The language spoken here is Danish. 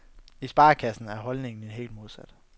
I sparekassen er holdningen helt modsat.